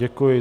Děkuji.